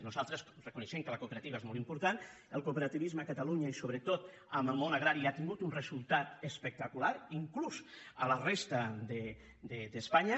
nosaltres reconeixem que la cooperativa és molt important el cooperativisme a catalunya i sobretot en el món agrari ha tingut un resultat espectacular inclús a la resta d’espanya